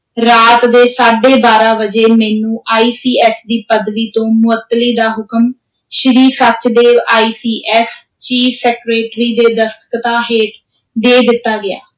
ਰਾਤ ਦੇ ਸਾਢੇ ਬਾਰਾਂ ਵਜੇ ਮੈਨੂੰ ICS ਦੀ ਪਦਵੀ ਤੋਂ ਮੁਅੱਤਲੀ ਦਾ ਹੁਕਮ, Shri Sachdev ICS chief secretary ਦੇ ਦਸਤਖ਼ਤਾਂ ਹੇਠ, ਦੇ ਦਿੱਤਾ ਗਿਆ।